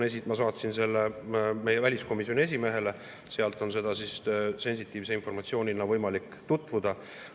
Ma saatsin selle meie väliskomisjoni esimehele, seal on sensitiivse informatsioonina võimalik sellega tutvuda.